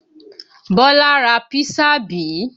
Bọ́lá ra písà bí?